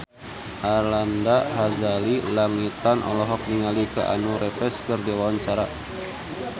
Arlanda Ghazali Langitan olohok ningali Keanu Reeves keur diwawancara